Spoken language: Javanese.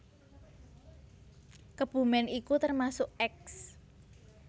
Kebumen iku termasuk eks